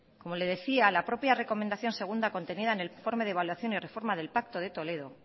como le decía la propia recomendación segunda contenida en el informe de evaluación y reforma en el pacto de toledo